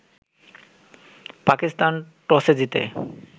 পাকিস্তান টসে জিতে